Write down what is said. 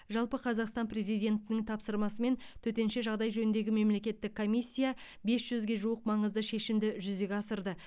жалпы қазақстан президентінің тапсырмасымен төтенше жағдай жөніндегі мемлекеттік комиссия бес жүзге жуық маңызды шешімді жүзеге асырды